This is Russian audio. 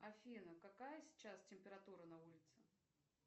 афина какая сейчас температура на улице